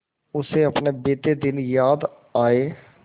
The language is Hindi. उसे अपने बीते दिन याद आए